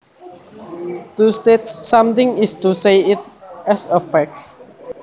To state something is to say it as a fact